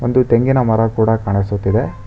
ಒಂದು ತೆಂಗಿನ ಮರ ಕೊಡ ಕಾಣಿಸುತ್ತಿದೆ.